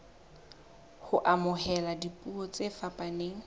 ho amohela dipuo tse fapaneng